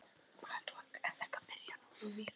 Á Garði búa nú